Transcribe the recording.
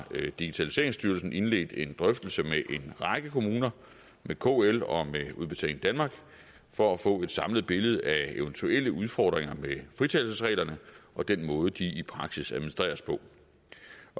digitaliseringsstyrelsen indledt en drøftelse med en række kommuner med kl og med udbetaling danmark for at få et samlet billede af eventuelle udfordringer med fritagelsesreglerne og den måde de i praksis administreres på